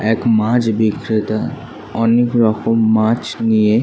একমাছ বিক্রেতা অনেক রকম মাছ নিয়ে--